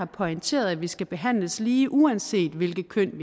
pointerer at vi skal behandles lige uanset hvilket køn